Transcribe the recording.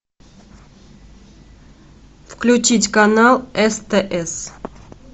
включить канал стс